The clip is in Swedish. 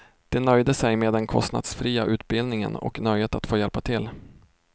De nöjde sig med den kostnadsfria utbildningen och nöjet att få hjälpa till.